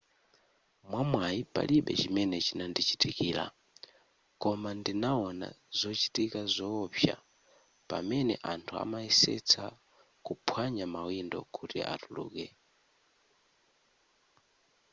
mwamwayi palibe chimene chinandichitikira koma ndinawona zochitika zoopsa pamene anthu amayesetsa kuphwanya mawindo kuti atuluke